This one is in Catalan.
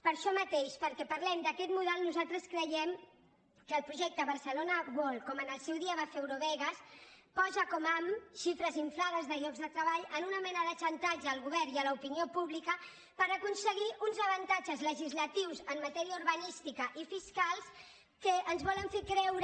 per això mateix perquè parlem d’aquest model nosaltres creiem que el projecte barcelona world com en el seu dia va ser eurovegas posa com ham xifres inflades de llocs de treball amb una mena de xantatge al govern i a l’opinió pública per aconseguir uns avantatges legislatius en matèria urbanística i fiscal que ens volen fer creure